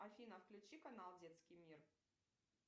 афина включи канал детский мир